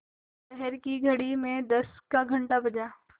शहर की घड़ी में दस का घण्टा बजा